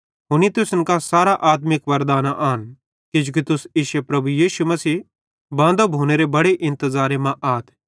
हुनी तुसन कां सारां आत्मिक वरदानां आन किजोकि तुस इश्शो प्रभु यीशु मसीह बांदो भोनेरे बड़े इंतज़ारे मां आथ